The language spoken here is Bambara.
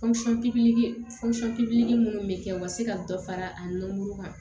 minnu bɛ kɛ u ka se ka dɔ fara a nɔrɔ kan